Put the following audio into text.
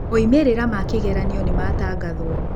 Moimĩrĩra ma kĩgeranio nĩ maatangathwo.